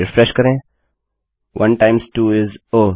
refresh करें 1 times 2 इस Oh